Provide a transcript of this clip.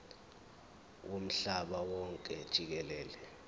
womhlaba wonke jikelele